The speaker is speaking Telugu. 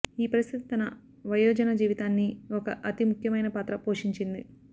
ఈ పరిస్థితి తన వయోజన జీవితాన్ని ఒక అతి ముఖ్యమైన పాత్ర పోషించింది